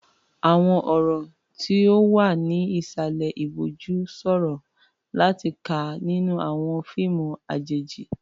Àwọn ọ̀rọ̀ tí ó wà ní ìsàlẹ̀ ìbòjú ṣòro láti kà nínú àwọn fíìmù àjèjì.